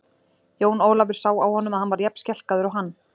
Jón Ólafur sá á honum að hann var jafn skelkaður og hann.